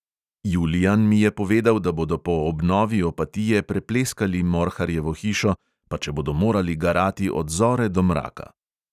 Julijan mi je povedal, da bodo po obnovi opatije prepleskali morharjevo hišo, pa če bodo morali garati od zore do mraka.